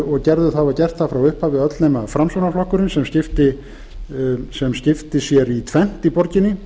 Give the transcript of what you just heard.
að ræða og hafa gert það frá upphafi öll nema framsóknarflokkurinn sem skipti sér í tvennt í borginni